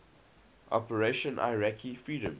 operation iraqi freedom